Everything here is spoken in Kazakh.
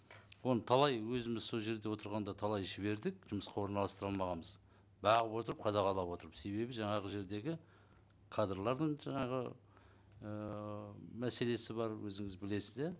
оны талай өзіміз сол жерде отырғанда талай жібердік жұмысқа орналастыра алмағанбыз бағып отырып қадағалап отырып себебі жаңағы жердегі кадрлардың жаңағы ыыы мәселесі бар өзіңіз білесіз иә